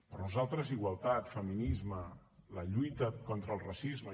per nosaltres igualtat feminisme la lluita contra el racisme